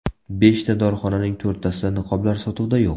Beshta dorixonaning to‘rttasida niqoblar sotuvda yo‘q.